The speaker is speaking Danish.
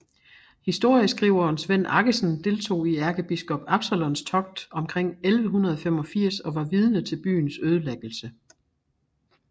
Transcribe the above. Historieskriveren Svend Aggesen deltog i ærkebiskop Absalons togt omkring 1185 og var vidne til byens ødelæggelse